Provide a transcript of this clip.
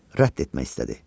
Rədd etmək istədi.